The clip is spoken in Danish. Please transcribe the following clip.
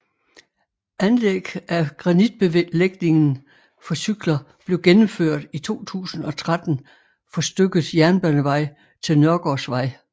Anlæg af granitbelægingen for cykler belv gennemført i 2013 for stykket Jernbanevej til Nørgaardsvej